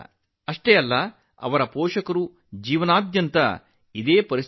ಅಷ್ಟೇ ಅಲ್ಲ ಆಕೆಯ ತಂದೆ ತಾಯಿಯರ ಜೀವನದಲ್ಲೂ ಇದೇ ಪರಿಸ್ಥಿತಿ ಇತ್ತು